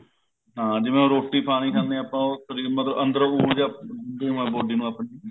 ਹਾਂ ਜਿਵੇਂ ਹੁਣ ਰੋਟੀ ਪਾਣੀ ਖਾਂਦੇ ਆ ਆਪਾਂ ਉਹ ਮਤਲਬ ਅੰਦਰੋ ਉਰਜਾ ਲੋੜ ਐ body ਨੂੰ ਆਪਣੀ ਨੂੰ